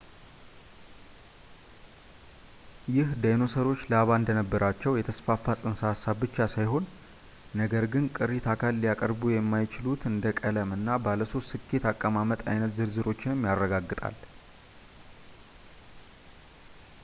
ይህ ዳይኖሰሮች ላባ እንደነበራቸው የተስፋፋ ጽንሰ ሃሳብ ብቻ ሳይሆን ነገር ግን ቅሪት አካላት ሊያቀርቡ የማይችሉትን እንደ ቀለም እና ባለ ሶስት ልኬት አቀማመጥ አይነት ዝርዝሮችንም ያረጋግጣል